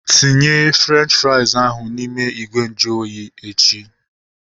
Tinye Frenchi frais ahu n'ime ìgwè nju oyi echi!